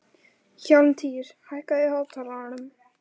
Hjálmtýr, hækkaðu í hátalaranum.